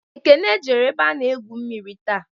Ekene jere ebe a n'egwu mmiri taa